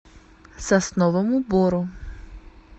сосновому бору